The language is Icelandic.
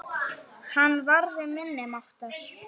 Hann varði minni máttar.